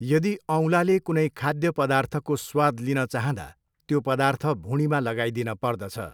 यदि औँलाले कुनै खाध्य पदार्थको स्वाद लिनँ चाहँदा त्यो पदार्थ भुँडीमा लगाईदिन पर्दछ।